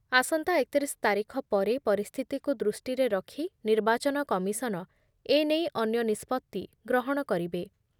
ଆସନ୍ତା ଏକ ତିରିଶ ତାରିଖ ପରେ ପରିସ୍ଥିତିକୁ ଦୃଷ୍ଟିରେ ରଖ ନିର୍ବାଚନ କମିଶନ ଏ ନେଇ ଅନ୍ୟ ନିଷ୍ପତ୍ତି ଗ୍ରହଣ କରିବେ ।